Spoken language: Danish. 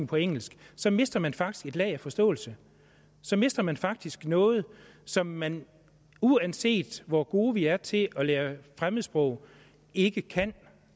på engelsk så mister man faktisk et lag af forståelse så mister man faktisk noget som man uanset hvor gode vi er til at lære fremmedsprog ikke kan